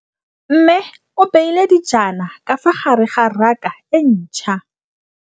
Mmê o beile dijana ka fa gare ga raka e ntšha.